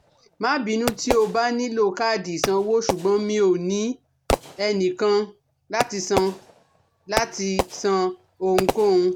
Má bínú tí o bá nílò káàdì ìsanwó, ṣùgbọ́n mi ò ní ẹnìkan láti san láti san ohunkóhun